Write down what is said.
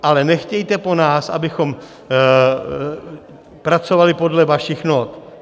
Ale nechtějte po nás, abychom pracovali podle vašich not.